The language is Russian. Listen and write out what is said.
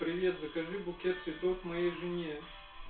привет закажи букет цветов моей жене